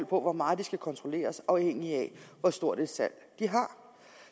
på hvor meget de skal kontrolleres afhængigt af hvor stort et salg de har